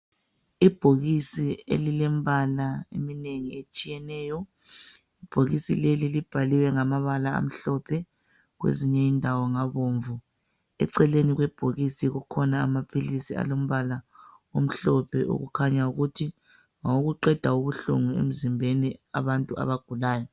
Ibhokisi elilembala eminengi etshiyeneyo. lbhokisi leli libhaliwe ngamabala amhlophe kwezinye indawo ngabomvu. Eceleni kwebhokisi kukhona amaphilisi alombala omhlophe okukhanya ukuthi ngawokuqeda ubuhlungu emzimbeni wabantu abagulayo